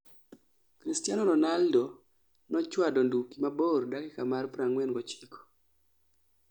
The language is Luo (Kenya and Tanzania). Christiano Ronaldo no chuado nduki mabor dakika mar 49